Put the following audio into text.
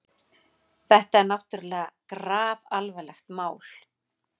Þetta er náttúrlega grafalvarlegt mál.